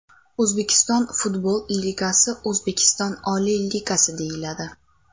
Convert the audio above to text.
O‘zbekiston futbol ligasi O‘zbekiston oliy ligasi deyiladi.